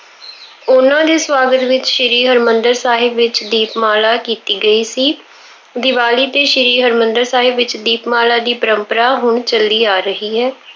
ਉਹਨਾ ਦੇ ਸਵਾਗਤ ਵਿੱਚ ਸ੍ਰੀ ਹਰਮੰਦਿਰ ਸਾਹਿਬ ਵਿੱਚ ਦੀਪਮਾਲਾ ਕੀਤੀ ਗਈ ਸੀ। ਦੀਵਾਲੀ ਤੇ ਸ਼੍ਰੀ ਹਰਮੰਦਿਰ ਸਾਹਿਬ ਵਿੱਚ ਦੀਪਮਾਲਾ ਦੀ ਪਰੰਪਰਾ ਹੁਣ ਚੱਲੀ ਆ ਰਹੀ ਹੈ।